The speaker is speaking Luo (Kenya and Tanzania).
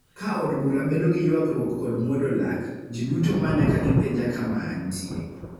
Ka od bur bedo gi ywagruok kod muodo lak, ji duto manya ka gipenja kama antie,